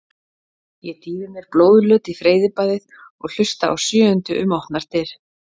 Ég dýfi mér blóðlöt í freyðibaðið og hlusta á sjöundu um opnar dyr.